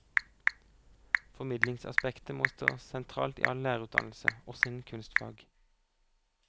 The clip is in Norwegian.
Formidlingsaspektet må stå sentralt i all lærerutdannelse, også innen kunstfag.